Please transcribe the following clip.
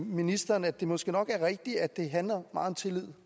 ministeren at det måske nok er rigtigt at det handler meget om tillid